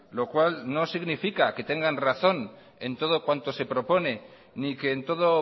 lo cual no significa que tengan razón en todo cuanto se propone ni que en todo